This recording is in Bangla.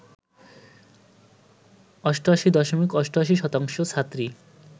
৮৮ দশমিক ৮৮ শতাংশ ছাত্রী